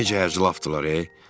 Necə hərc-mərcdirlər ey.